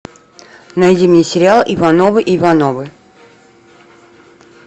найди мне сериал ивановы ивановы